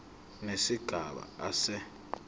nesigaba a se